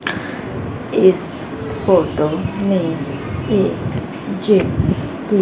इस फोटो में एक जिम कि--